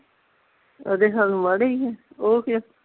ਉਹਦੇ ਹਾਲ ਮਾੜੇ ਈ ਨੇ ਉਹ ਕਿਉ